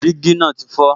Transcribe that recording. Dígí náà ti fọ